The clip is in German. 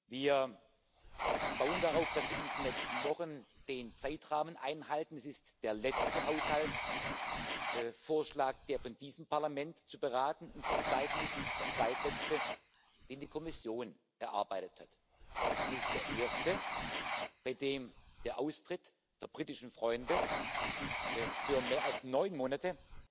Wir bauen darauf, dass wir in den nächsten Wochen den Zeitrahmen einhalten. Es ist der letzte Haushaltsvorschlag, der von diesem Parlament zu beraten und zu entscheiden ist, der zweitletzte, den die Kommission erarbeitet hat, und es ist der erste, bei dem sich der Austritt der britischen Freunde für mehr als neun Monate